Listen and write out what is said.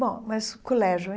Bom, mas o colégio.